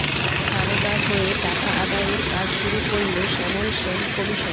সারদার হয়ে টাকা আদায়ের কাজ শুরু করল শ্যামল সেন কমিশন